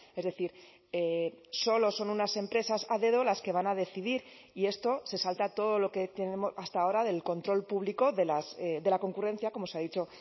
es decir solo son unas empresas a dedo las que van a decidir y esto se salta todo lo que hasta ahora del control público de la concurrencia como se ha dicho